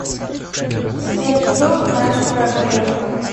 сбер что знаешь про грефа